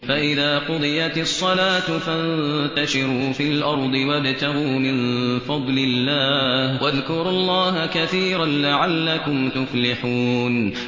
فَإِذَا قُضِيَتِ الصَّلَاةُ فَانتَشِرُوا فِي الْأَرْضِ وَابْتَغُوا مِن فَضْلِ اللَّهِ وَاذْكُرُوا اللَّهَ كَثِيرًا لَّعَلَّكُمْ تُفْلِحُونَ